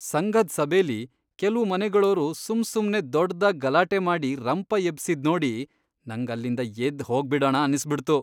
ಸಂಘದ್ ಸಭೆಲಿ ಕೆಲ್ವು ಮನೆಗಳೋರು ಸುಮ್ಸುಮ್ನೆ ದೊಡ್ದಾಗ್ ಗಲಾಟೆ ಮಾಡಿ ರಂಪ ಎಬ್ಸಿದ್ ನೋಡಿ ನಂಗ್ ಅಲ್ಲಿಂದ ಎದ್ದ್ ಹೋಗ್ಬಿಡಣ ಅನ್ಸ್ಬಿಡ್ತು.